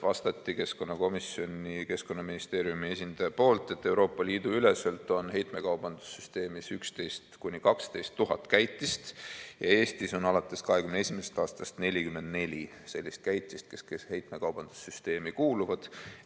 Keskkonnaministeeriumi esindaja vastas, et Euroopa Liidu üleselt on heitmekaubanduse süsteemis 11 000 – 12 000 käitist, Eestis on alates 2021. aastast 44 sellist käitist, kes heitmekaubanduse süsteemi kuuluvad.